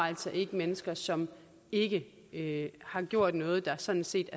altså ikke mennesker som ikke ikke har gjort noget der sådan set